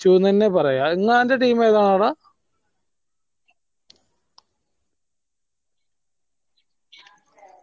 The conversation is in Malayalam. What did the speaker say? ഡാ നിങ്ങൾടെ team ഏതാടാ